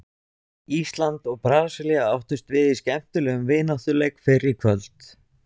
Ísland og Brasilía áttust við í skemmtilegum vináttuleik fyrr í kvöld.